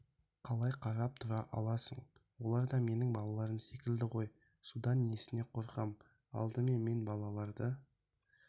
қалай қарап тұра аласың олар да менің балаларым секілді ғой судан снесіне қорқам алдымен мен балаларды